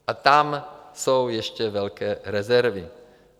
A tam jsou ještě velké rezervy.